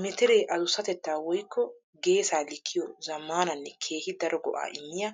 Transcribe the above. Mitire adusatetta woykko geessa likkiyo zamaananne keehi daro go'a immiya